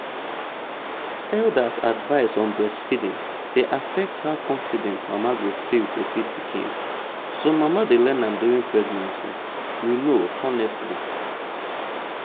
elders’ advice on breastfeeding dey affect how confident mama go feel to feed pikin. some mama dey learn am during pregnancy. you know honestly.